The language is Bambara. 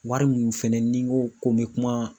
Wari mun fɛnɛ ni n ko ko n be kuma